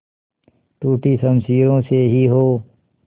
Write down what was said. टूटी शमशीरों से ही हो